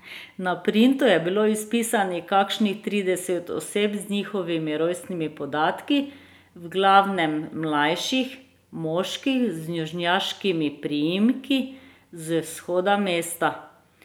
Na printu je bilo izpisanih kakšnih trideset oseb z njihovimi rojstnimi podatki, v glavnem mlajših moških z južnjaškimi priimki z vzhoda mesta.